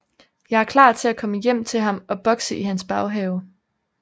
Jeg er klar til at komme hjem til ham og bokse i hans baghave